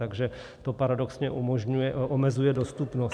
Takže to paradoxně omezuje dostupnost.